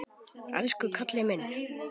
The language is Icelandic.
Elsku Kalli minn!